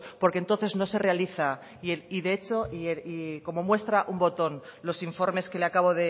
porque entonces no se realiza y de hecho como muestra un botón los informes que le acabo